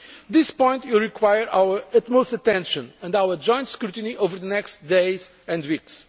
method? This point will require our utmost attention and our joint scrutiny over the next days